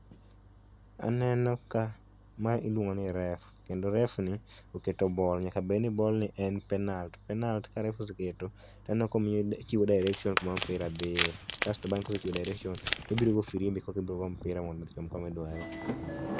Aneno ka mae iluong'o ni reef kendo reef ni oketo ball nyaka bedni ball ni en penalt penalt ka refa oseketo taneno kochiwo direction kuma opira dhiye kasto bange kosechiwo direction tobiro go firimbi korka ibiro go mpira mondo ochom komi dware